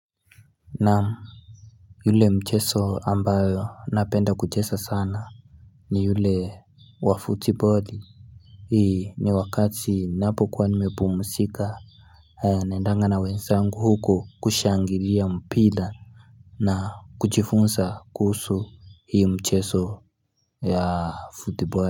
Naam yule mcheso ambayo napenda kuchesa sana ni yule wa footballi Hii ni wakati napokuwa nimepumsika haya naendanga na wenzangu huko kushangilia mpila na kuchifunsa kuhusu hii mcheso ya footballi.